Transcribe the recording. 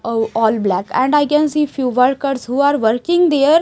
uh oh all black and I can see few workers who are working there--